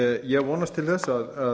ég vonast til að